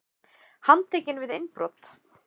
Handtekinn við innbrot